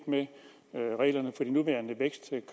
med reglerne